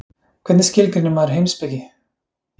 hvernig skilgreinir maður heimspeki